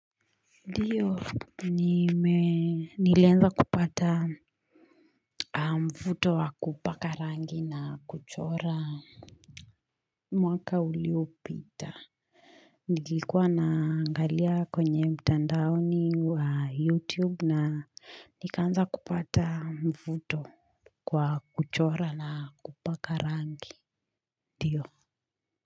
Ndiyo nilianza kupata mfuto wa kupaka rangi na kuchora mwaka uliopita Nilikuwa naangalia kwenye mtandaoni wa youtube na nikaanza kupata mvuto kwa kuchora na kupaka rangi ndio.